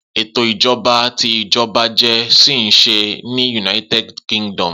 Eto ijọba ti ijọba jẹ ṣi nṣe ni United Kingdom.